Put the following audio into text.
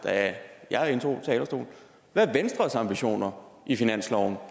da jeg indtog talerstolen hvad er venstres ambitioner i finansloven